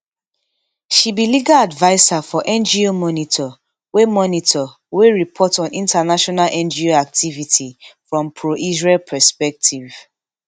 she be legal adviser for ngo monitor wey monitor wey report on international ngo activity from proisrael perspective